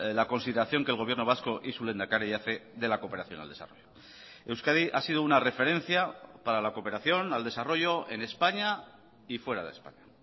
la consideración que el gobierno vasco y su lehendakari hace de la cooperación al desarrollo euskadi ha sido una referencia para la cooperación al desarrollo en españa y fuera de españa